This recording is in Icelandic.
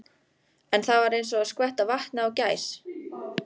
En það var eins og að skvetta vatni á gæs.